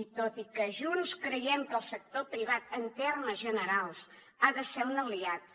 i tot i que junts creiem que el sector privat en termes generals ha de ser un aliat